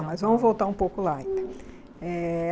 mas vamos voltar um pouco lá então eh.